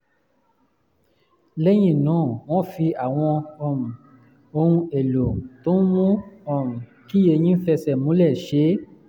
lẹ́yìn náà wọ́n fi àwọn um ohun-èlò tó ń mú um kí eyín fẹsẹ̀ múlẹ̀ ṣe é